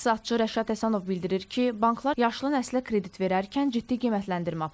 İqtisadçı Rəşad Həsənov bildirir ki, banklar yaşlı nəslə kredit verərkən ciddi qiymətləndirmə aparır.